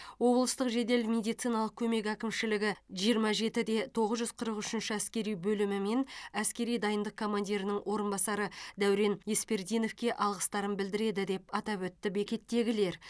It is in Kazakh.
облыстық жедел медициналық көмек әкімшілігі жиырма жеті де тоғыз жүз қырық үшінші әскери бөлімі мен әскери дайындық командирінің орынбасары дәурен еспердиновке алғыстарын білдіреді деп атап өтті бекеттегілер